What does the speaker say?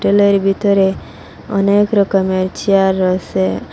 পেলের ভিতরে অনেক রকমের চেয়ার রয়েসে।